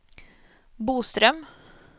Boström